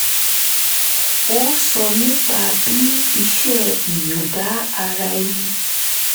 ó sọ nípa bí iṣẹ́ ìyọ̀ǹda ara ẹni